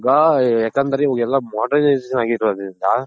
ಯಾಕಂದ್ರೆ ಇವಾಗ ಎಲ್ಲಾ modernization ಆಗಿರೋದ್ರಿಂದ